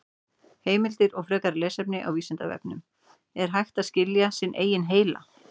Heimildir og frekara lesefni á Vísindavefnum: Er hægt að skilja sinn eigin heila?